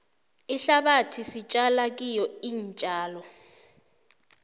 ihlabathi sitjala kiyo iintjalo